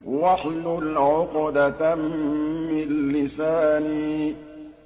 وَاحْلُلْ عُقْدَةً مِّن لِّسَانِي